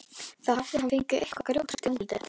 Þá hafði hann fengið eitthvað grjóthart í andlitið.